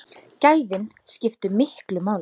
Gæðin skiptu miklu máli.